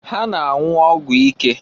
Ha nọ na-anwụ ọgwụ ike.